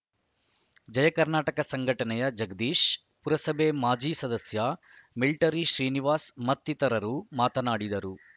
ಜಯಕರ್ನಾಟಕ ಸಂಘಟನೆಯ ಜಗದೀಶ್‌ ಪುರಸಭೆ ಮಾಜಿ ಸದಸ್ಯ ಮಿಲ್ಟಿರಿ ಶ್ರೀನಿವಾಸ್‌ ಮತ್ತಿತರರು ಮಾತನಾಡಿದರು